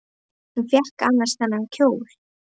Hvar fékk hún annars þennan kjól?